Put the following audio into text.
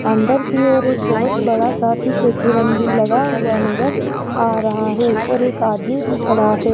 अंदर की ओर एक बहोत बड़ा सा भी लगा हुआ नजर आ रहा है और एक आदमी भी खड़ा है।